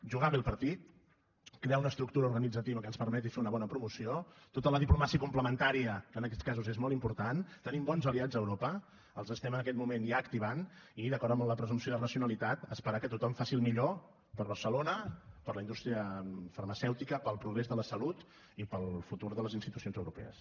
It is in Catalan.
jugar bé el partit crear una estructura organitzativa que ens permeti fer una bona promoció tota la diplomàcia complementària que en aquests casos és molt important tenim bons aliats a europa els estem en aquest moment ja activant i d’acord amb la presumpció de racionalitat esperar que tothom faci el millor per a barcelona per a la indústria farmacèutica per al progrés de la salut i per al futur de les institucions europees